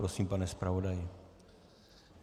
Prosím, pane zpravodaji.